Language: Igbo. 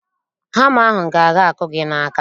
Hama ahụ ga-aga akụ gị n'aka